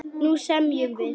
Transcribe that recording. Nú semjum við!